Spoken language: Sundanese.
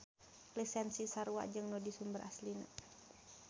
Lisensi sarua jeung nu di sumber aslina.